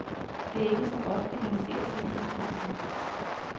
Det er ikke så ofte, han ser din udsendelse.